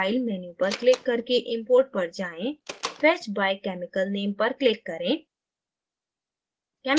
file menu पर click करके import पर जाएँ fetch by chemical name पर click करें